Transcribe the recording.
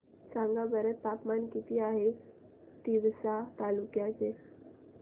सांगा बरं तापमान किती आहे तिवसा तालुक्या चे